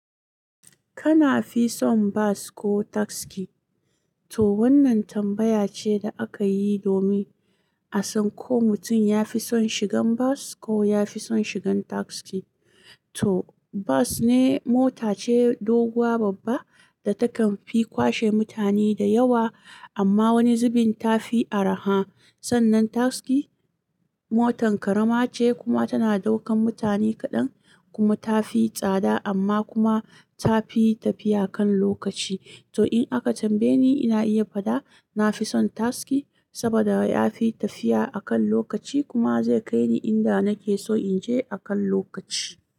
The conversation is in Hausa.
Kana fi son bas ko taski? To wannan tambaya ce da aka yi domin a san ko mutum ya fi son shigan bas ko ya fi son shigan taski. To bas ne mota ce doguwa babba da takan fi kwashe mutane da yawa amma wani zubin ta fi araha. Sannan taski motan karama ce kuma tana ɗaukan mutane kaɗan kuma ta fi tsada amma kuma ta fi tafiya kan lokaci. To in aka tambaye ni, ina iya fada na fi son taski saboda ya fi tafiya a kan lokaci kuma zai kai ni inda nake so in je a kan lokaci.